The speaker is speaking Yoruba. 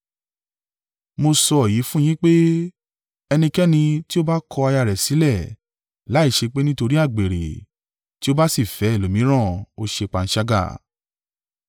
Mo sọ èyí fún yín pé, ẹnikẹ́ni tí ó bá kọ aya rẹ̀ sílẹ̀, láìṣe pé nítorí àgbèrè, tí ó bá sì fẹ́ ẹlòmíràn, ó ṣe panṣágà.”